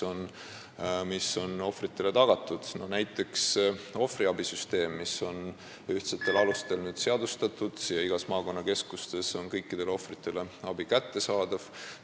Näiteks on nüüdseks seadustatud ühtsetel alustel ohvriabisüsteem ja igas maakonnakeskuses on abi kõikidele ohvritele kättesaadav.